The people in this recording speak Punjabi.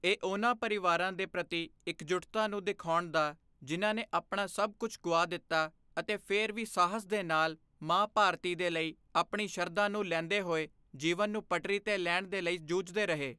ਇਹ ਉਨ੍ਹਾਂ ਪਰਿਵਾਰਾਂ ਦੇ ਪ੍ਰਤੀ ਇਕਜੁੱਟਤਾ ਨੂੰ ਦਿਖਾਉਣ ਦਾ ਜਿਨ੍ਹਾਂ ਨੇ ਆਪਣਾ ਸਭ ਕੁਝ ਗੁਆ ਦਿੱਤਾ ਅਤੇ ਫਿਰ ਵੀ ਸਾਹਸ ਦੇ ਨਾਲ ਮਾਂ ਭਾਰਤੀ ਦੇ ਲਈ ਆਪਣੀ ਸ਼ਰਧਾ ਨੂੰ ਲੈਂਦੇ ਹੋਏ ਜੀਵਨ ਨੂੰ ਪਟਰੀ ਤੇ ਲੈਣ ਦੇ ਲਈ ਜੂਝਦੇ ਰਹੇ।